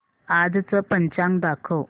आजचं पंचांग दाखव